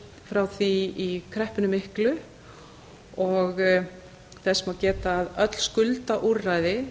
frá því í kreppunni miklu og þess má geta að öll skuldaúrræði